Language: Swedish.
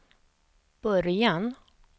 början